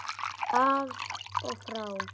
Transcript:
Af og frá!